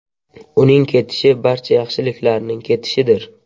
Uning ketishi barcha yaxshiliklarning ketishidir.